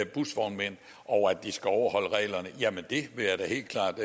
busvognmænd og at de skal overholde reglerne jamen det vil jeg da helt klart